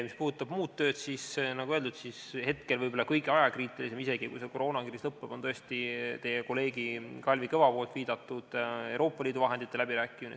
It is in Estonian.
Mis puudutab muud tööd, siis, nagu öeldud, hetkel võib olla kõige ajakriitilisem isegi, kui see koroonakriis lõpeb, tõesti teie kolleegi Kalvi Kõva viidatud Euroopa Liidu vahendite läbirääkimine.